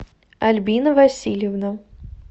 альбина васильевна